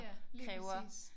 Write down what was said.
Ja lige præcis